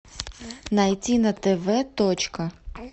найти на тв точка